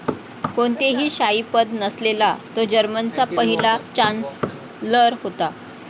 कोणतेही शाही पद नसलेला तो जर्मनीचा पहिला चांन्सलर होता.